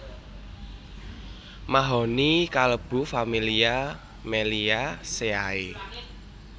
Mahoni kalebu familia Meliaceae